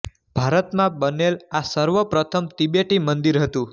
ભારતમાં બનેલ આ સર્વ પ્રથમ તિબેટી મંદિર હતું